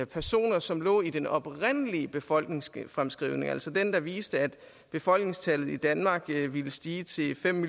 personer som lå i den oprindelige befolkningsfremskrivning altså den der viste at befolkningstallet i danmark ville stige til fem